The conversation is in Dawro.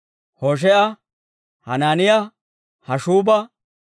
Hoshee'a, Hanaaniyaa, Hashshuuba,